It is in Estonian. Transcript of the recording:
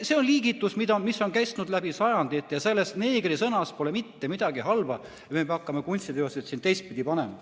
See on liigitus, mis on kestnud läbi sajandite, ja selles sõnas "neeger" pole mitte midagi halba, et me hakkame kunstiteoseid teistpidi panema.